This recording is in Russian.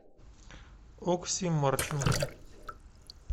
окси марченко